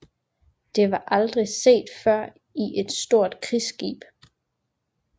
Det var aldrig set før i et stort krigsskib